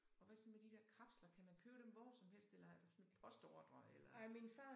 Og hvad så med de der kapsler kan man købe dem hvor som helst eller har du sådan postordre eller